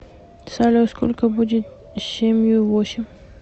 салют сколько будет семью восемь